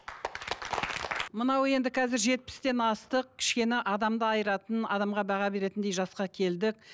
мынау енді қазір жетпістен астық кішкене адамды айыратын адамға баға беретіндей жасқа келдік